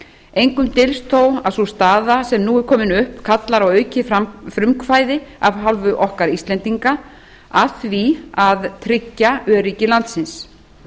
engum dylst þó að sú staða sem nú er komin upp kallar á aukið frumkvæði af hálfu okkar íslendinga að því að tryggja öryggi landsins